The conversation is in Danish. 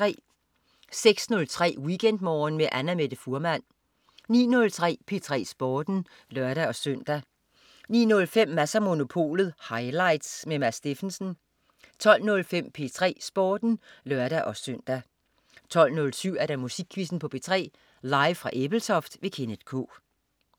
06.03 WeekendMorgen med Annamette Fuhrmann 09.03 P3 Sporten (lør-søn) 09.05 Mads & Monopolet highlights. Mads Steffensen 12.05 P3 Sporten (lør-søn) 12.07 Musikquizzen på P3. Live fra Ebeltoft. Kenneth K